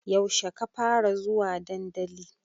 Yaushe ka fara zuwa dandali?